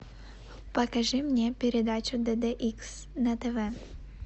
покажи мне передачу дд икс на тв